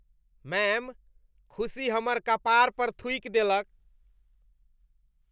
Ma'am, खुशी हमर कपार पर थुकि देलक।